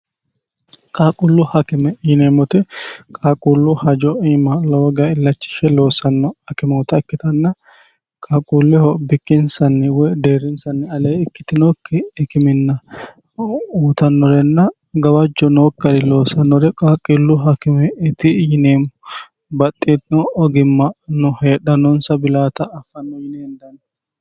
qaaqullu hakime yineemmote qaaquullu hajo iima lowo geesha illachishshe loossanno hakimoota ikkitanna qaaquulleho bikkinsanni woy deerrinsanni alee ikkitinokki ikiminna uutannorenna gawajjo nookki garinni loossannore qaaqqillu hakimeeti yineemmo baxxitino ogimmano heedhannoonsa bilaata affanno yine hendanni.